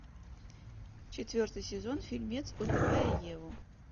четвертый сезон фильмец убивая еву